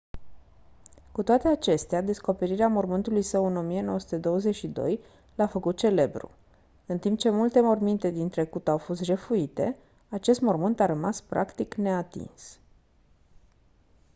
cu toate acestea descoperirea mormântului său în 1922 l-a făcut celebru în timp ce multe morminte din trecut au fost jefuite acest mormânt a rămas practic neatins